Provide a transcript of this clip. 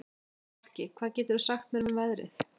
Fálki, hvað geturðu sagt mér um veðrið?